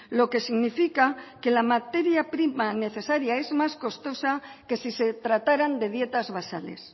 lo que significa que la materia prima necesaria es más costosa que si se trataran de dietas basales